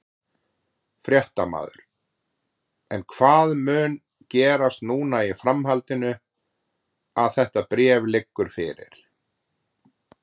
Fréttamaður: En hvað mun gerast núna í framhaldinu að þetta bréf liggur fyrir?